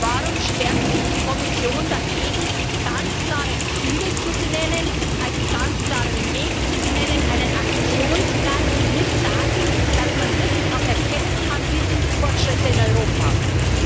Warum sperrt sich die Kommission dagegen, ganz klare Ziele zu benennen, einen ganz klaren Weg zu benennen, einen Aktionsplan mit Daten, sodass man wirklich auch erkennen kann, wie die Fortschritte in Europa sind?